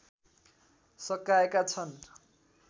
सकाएका छन्